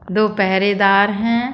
दो पहरेदार हैं।